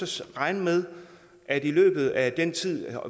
så regne med at med at